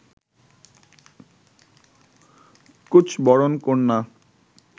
কুঁচ বরণ কন্যা